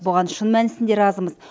бұған шын мәнісінде разымыз